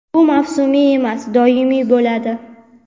Bu mavsumiy emas, doimiy bo‘ladi.